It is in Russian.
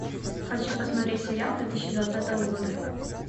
хочу посмотреть сериал две тысячи двадцатого года